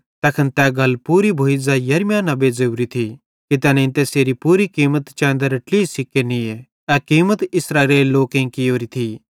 तैखन तै गल पूरी भोइ ज़ै यिर्मयाह नेबे ज़ोरी थी कि तैनेईं तैसेरी पूरी कीमत चैंदरे ट्लही सिक्के निये ए कीमत इस्राएलेरे लोकेईं कियोरी थी